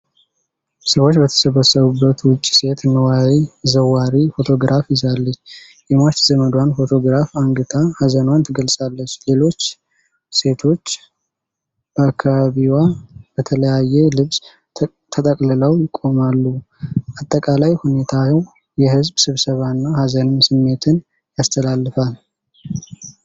ሰዎች በተሰበሰቡበት ውጪ ሴት ንዋይ ዘዋሪ ፎቶግራፍ ይዛለች። የሟች ዘመዷን ፎቶግራፍ አንግታ ሐዘኗን ትገልጻለች። ሌሎች ሴቶች በአካባቢዋ በተለያየ ልብስ ተጠቅልለው ይቆማሉ። አጠቃላይ ሁኔታው የሕዝብ ስብስብና የሐዘን ስሜትን ያስተላልፋል።